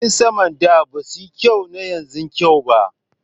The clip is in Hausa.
Jiragen sama na da ba su kai na yanzu kyau ba